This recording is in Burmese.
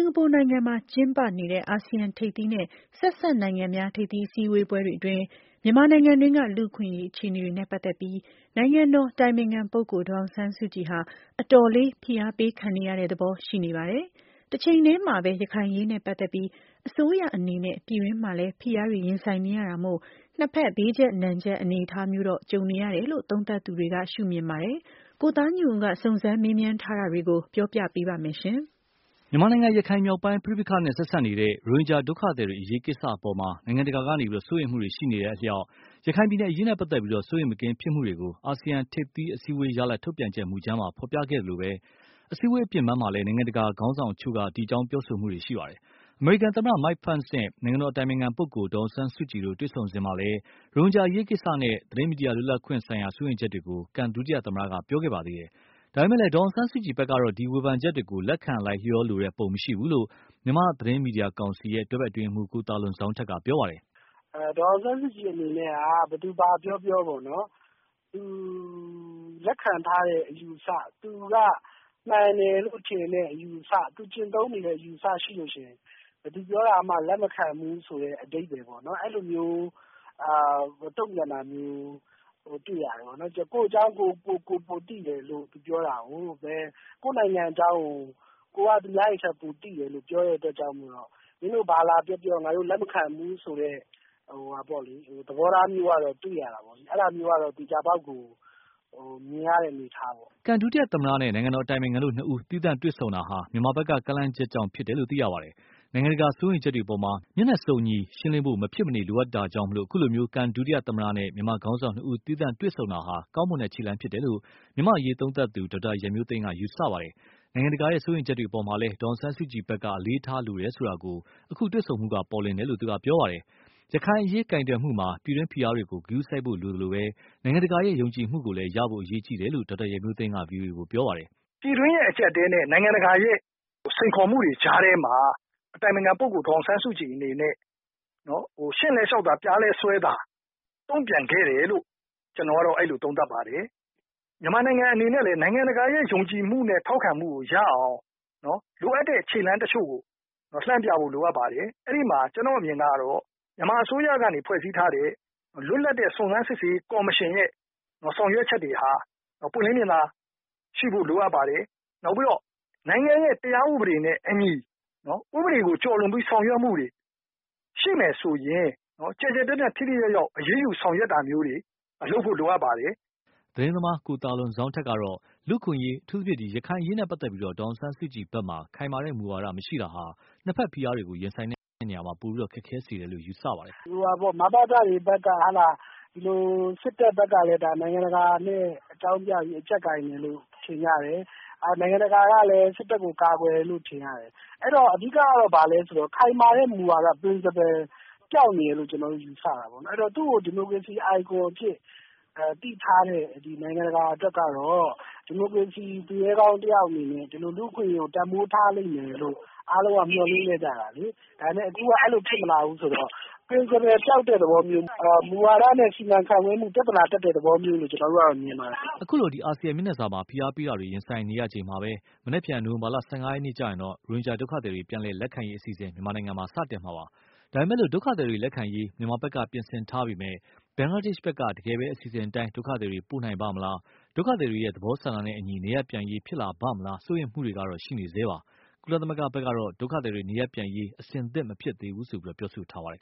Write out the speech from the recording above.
်ကာပူနိုင်ငံမှာ ကျင်းပနေတဲ့ အာဆီယံထိပ်သီးနဲ့ ဆက်စပ်နိုင်ငံများ ထိပ်သီး အစည်းအဝေးတွေ အတွင်း မြန်မာနိုင်ငံတွင်းက လူ့အခွင့်အရေး အခြေအနေတွေနဲ့ ပတ်သက်ပြီး နိုင်ငံတော်အတိုင်ပင်ခံပုဂ္ဂိုလ် ဒေါ်အောင်ဆန်းစုကြည် ဟာ အတော်လေး ဖိအားပေးခံနေရသဘော ရှိနေပါတယ်။ တချိန်တည်းမှာပဲ ရခိုင်အရေးနဲ့ ပတ်သက်ပြီး အစိုးရအနေနဲ့ ပြည်တွင်းမှာလည်း ဖိအားတွေ ရင်ဆိုင်နေရတာမို့၊ နှစ်ဖက် ဘေးကြပ်နံကြပ်အနေအထားမျိုးတော့ ကြုံနေတယ်လို့ သုံးသပ်သူတွေက ရှုမြင်ပါတယ်။ ကိုသားညွန့်ဦးက စုံစမ်းမေးမြန်းထားတာတွေကို ပြောပြပါလိမ့်မယ်။ မြန်မာနိုင်ငံ ရခိုင်မြောက်ပိုင်းပဋိပက္ခနဲ့ ဆက်စပ်နေတဲ့ ရိုဟင်ဂျာဒုက္ခသည်တွေ အရေးကိစ္စအပေါ်မှာ နိုင်ငံတကာက စိုးရိမ်မှုတွေ ရှိနေတဲ့အလျှောက်၊ ရခိုင်ပြည်နယ် အရေးနဲ့ပတ်သက်လို့ စိုးရိမ်မကင်းဖြစ်မှုကို အာဆီယံထိပ်သီးအစည်းအဝေးရလဒ် ထုတ်ပြန်ချက်မူကြမ်းမှာ ဖော်ပြခဲ့သလို အစည်းအဝေးအပြင်ပန်းမှာလည်း နိုင်ငံတကာခေါင်းဆောင်အချို့က ဒီအကြောင်း ပြောဆိုနေတာတွေ ရှိပါတယ်။ အမေရိကန် သမ္မတ Mike Pence နဲ့ နိုင်ငံတော်အတိုင်ပင်ခံ ပုဂ္ဂိုလ် ဒေါ်အောင်ဆန်းစုကြည် တို့ တွေ့ဆုံစဉ်မှာလည်း ရိုဟင်ဂျာ အရေးကိစ္စနဲ့ သတင်းမီဒီယာလွတ်လပ်ခွင့်ဆိုင်ရာ စိုးရိမ်ချက်တွေကို ကန် ဒုသမ္မတက ပြောခဲ့ ပါသေးတယ်။ ဒါပေမယ့်လည်း ဒေါ်အောင်ဆန်းစုကြည်ဖက်ကတော့ ဒီ ဝေဖန်ချက်တွေ ကို လက်ခံ လိုက်လျောလိုတဲ့ ပုံမရှိဘူးလို့ မြန်မာသတင်းမီဒီယာကောင်စီ တွဲဖက်အတွင်းရေးမှူး ကိုသာလွန်ဇောင်းထက် ပြောပါတယ်။ "ဒေါ်အောင်ဆန်းစုကြည် အနေနဲ့က ဘယ်သူဘာပြောပြော သူလက်ခံထားတဲ့ အယူအဆ မှန်တယ်လို့ ထင်တဲ့အယူအဆ ၊ သူကျင့်သုံးနေတဲ့ အယူအဆရှိရင် ဘယ်သူပြောတာကိုမှ လက်မခံဘူးဆိုတဲ့ အဓိပါ္ပယ်ပေါ့နော် အဲလိုမျိုး တုံ့ပြန်တာမျိုးတွေ့ရတယ်။ ကိုယ့်အကြောင်းကိုယ်ပိုသိတယ်ဆိုပြီးတော့ ပြောတာကို ၊ ကိုယ့်နိုင်ငံအကြောင်းကို ကိုယ်ပိုသိတယ်လို့ပြောတဲ့အတွက်ကြောင့် မင်းတို့ဘာပြောပြောလက်မခံဘူးဆိုတာတွေတွေ့ရတယ်။ အဲဒါမျိုးကတော့ သေချာပေါက်မြင်နေရတဲ့အနေအထားပေါ့နော်။" ကန် ဒုသမ္မတနဲ့ နိုင်ငံတော်အတိုင်ပင်ခံတို့နှစ်ဦး သီးသန့်တွေ့ဆုံတာဟာ မြန်မာဖက်က ကမ်းလှမ်းချက်ကြောင့်ဖြစ်တယ်လို့ သိရပါတယ်။ နိုင်ငံတကာ စိုးရိမ်ချက်တွေအပေါ်မှာ မျက်နှာစုံညီရှင်းလင်းဖို့ မဖြစ်မနေလိုအပ်တာကြောင့် အခုလို ကန်ဒု သမ္မတနဲ့ မြန်မာခေါင်းဆောင်နှစ်ဦး သီးသန့်တွေ့ဆုံမှုဟာ ကောင်းမွန်တဲ့ခြေလှမ်းဖြစ်တယ်လို့ မြန်မာ့အရေးသုံးသပ်သူ ဒေါက်တာရန်မျိုးသိန်းက ယူဆပါတယ်။ နိုင်ငံတကာရဲ့ စိုးရိမ်ချက်တွေအပေါ်မှာလည်း ဒေါ်အောင်ဆန်းစုကြည်ဖက်က အလေးထားတယ်ဆိုတာကို အခုလို တွေ့ဆုံမှုတွေက ပေါ်လွင်တယ်လို့သူက ပြောပါတယ်။ ရခိုင်အရေးကိုင်တွယ်မှုမှာ ပြည်တွင်းဖိအားတွေကို ဂရုစိုက်ဖို့လိုသလို နိုင်ငံတကာရဲ့ ယုံကြည်မှုကိုလည်း ရဖို့ အရေးကြီးတယ်လို့ ဒေါက်တာ ရန်မျိုးသိန်းက ဗွီအိုအေကို ပြောပါတယ်။ " ပြည်တွင်းအကျပ်အတည်းနဲ့ နိုင်ငံတကာစိန်ခေါ်မှုတွေကြားထဲမှာ နိုင်ငံတော်အတိုင်ပင်ခံပုဂ္ဂိုလ် ဒေါ်အောင်ဆန်းစုကြည် အနေနဲ့ ရှည့်လည်း 'လျှောက်' သာ..ပျားလည်း 'စွဲ' သာ သဘောနဲ့ တုံ့ပြန်ခဲ့တယ်လို့ ကျနေ်ာကတော့ အဲလိုသုံးသပ်ပါတယ်။ မြန်မာနိုင်ငံအနေနဲ့လည်း ယုံကြည်မှုနဲ့ ထောက်ခံမှုကို ရအောင် လိုအပ်တဲ့ခြေလှမ်းတချို့ကို လှမ်းပြဖို့ လိုအပ်ပါတယ်။ အဲဒီမှာ ကျနော့်အမြင်ကတော့ မြန်မာအစိုးရကနေဖွဲ့စည်းထားတဲ့ လွတ်လပ်တဲ့ စုံစမ်းရေးကော်မရှင်ကနေ ဆောင်ရွက်ချက်တွေဟာ ပွင်းလင်းမြင်သာမှုရှိဖို့ လိုပါတယ်။ နောက်ပြီးတော့ နိုင်ငံတရားဥပဒေနဲ့အညီ ဥပဒေကို ကျော်လွန်ပြီး ဆောင်ရွက်မှုတွေရှိမယ်ဆိုရင် ကျယ်ကျယ်ပြန့်ပြန့်ထိထိရောက်ရောက် အရေးယူဆောင်ရွက်တာမျိုးတွေ လုပ်ဖို့လိုပါတယ်။" သတင်းသမား ကိုသာလွန်ဇောင်းထက်ကတော့ လူ့အခွင့်အရေး အထူးသဖြင့် ရခိုင်အရေးနဲ့ပတ်သက်လို့ ဒေါ်အောင်ဆန်းစုကြည်ဖက်မှာ ခိုင်မာတဲ့ မူဝါဒမရှိတာဟာ နှစ်ဖက် ဖိအားတွေကို ရင်ဆိုင်ရာမှာ ပိုပြီးတော့ ခက်ခဲစေတယ်လို့ ယူဆပါတယ်။ " မဘသတွေဘက်က၊ စစ်တပ်ဘက်ကလည်း နိုင်ငံတကာနဲ့ အကြောင်းပြပြီး အကြပ်ကိုင်တယ်လို့ ထင်ကြတယ်။ နိုင်ငံတကာကလည်း စစ်တပ်ဘက်ကို ကာကွယ်တယ်လို့ ထင်ရတယ်။ အဲဒီတော့ ခိုင်မာတဲ့ မူဝါဒ Principle ပျောက်နေတယ်လို့ ယူဆပါတယ်။ သူ့ကို ဒီမိုကရေစီ icon အဖြစ်သိထားတဲ့နိုင်ငံတကာအတွက်ကတော့ ဒီမိုကရေစီ သူရဲကောင်းတယောက်အနေနဲ့ ဒီလိုလူ့အခွင့်အရေးကို တန်ဖိုးထားလိမ့်မယ်လို့ အားလုံးက မျှော်လင့်ထားကြတာလေ။ ဒါပေမယ့် အခုအဲလိုဖြစ်မလာဘူးဆိုတော့ Principle ပျောက်တဲ့သဘောမျိုး၊ မူဝါဒနဲ့ စီမံခန့်ခွဲမှု ပြဿနာ တက်တဲ့သဘောမျိုးလို့မြင်ပါတယ်။" အခုလို အာဆီယံမျက်နှာစာမှာ ဖိအားပေးတာတွေ ရင်ဆိုင်ရချိန်မှာပဲ မနက်ဖြန် နိုဝင်ဘာလ ၁၅ရက်နေ့မှာတော့ ရိုဟင်ဂျာဒုက္ခသည်တွေ ပြန်လည်လက်ခံရေးအစီအစဉ် စတင်မှာပါ။ ဒါပေမယ့် ဒုက္ခသည်တွေ လက်ခံရေး မြန်မာဖက်က ပြင်ဆင်ထားပေမယ့်၊ ဘင်္ဂလားဒေ့ရ်ှဖက်က တကယ်ပဲ အစီအစဉ်အတိုင်း ဒုက္ခသည်တွေ ပို့နိုင်ပါ့မလား ဒုက္ခသည်တွေရဲ့ သဘောဆန္ဒနဲ့အညီ နေရပ်ပြန်ရေး ဖြစ်လာပါ့မလား စိုးရိမ်မှုတွေကတော့ ရှိနေဆဲပါ။ ကုလသမဂ္ဂဖက်ကတော့ ဒုက္ခသည်တွေ နေရပ်ပြန်ရေး အဆင်သင့်မဖြစ်သေးဘူးလို့ ပြောဆိုထားပါတယ်